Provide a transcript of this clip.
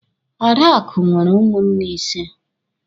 Adakụ nwere ụmụnne ịse.